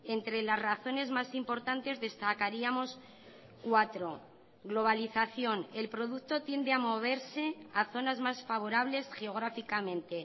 entre las razones más importantes destacaríamos cuatro globalización el producto tiende a moverse a zonas más favorables geográficamente